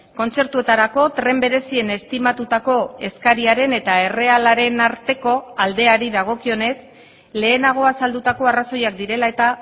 kontzertuetarako tren berezien estimatutako eskariaren eta errealaren arteko aldeari dagokionez lehenago azaldutako arrazoiak direla eta